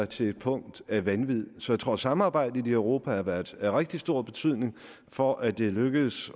til et punkt af vanvid så jeg tror at samarbejdet i europa har været af rigtig stor betydning for at det er lykkedes